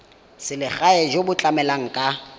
selegae jo bo tlamelang ka